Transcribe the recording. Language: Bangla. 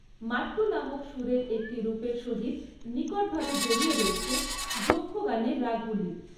মাট্টু নামক সুরের একটি রূপের সহিত নিকটভাবে জড়িয়ে রয়েছে যক্ষগানের রাগগুলি।